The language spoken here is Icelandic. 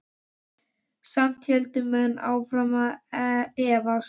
Samt héldu menn áfram að efast.